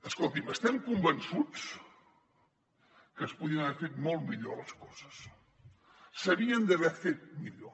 escolti’m estem convençuts que es podien haver fet molt millor les coses s’havien d’haver fet millor